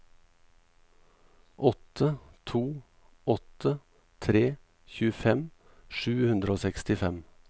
åtte to åtte tre tjuefem sju hundre og sekstifem